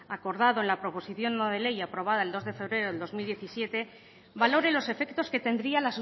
acordado en la proposición no de ley aprobada el dos de febrero de dos mil diecisiete valore los efectos que tendría